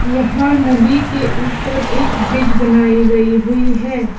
यहां नदी के ऊपर एक ब्रिज बनाई गई हुई है।